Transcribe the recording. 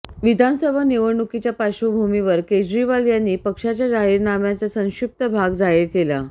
विधानसभा निवडणुकीच्या पार्श्वभूमीवर केजरीवाल यांनी पक्षाच्या जाहीरनाम्याचा संक्षिप्त भाग जाहीर केला